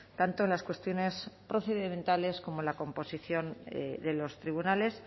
tanto en las cuestiones procedimentales como la composición de los tribunales